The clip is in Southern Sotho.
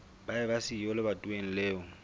ba eba siyo lebatoweng leo